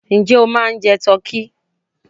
Ǹjẹ́ o ma ń jẹ tọ́kí?